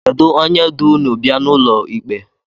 Kedu onye du ụnụ bịa n’ụlọ ikpe?